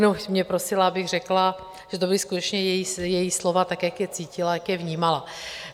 Jenom mě prosila, abych řekla, že to byla skutečně její slova, tak jak je cítila, jak je vnímala.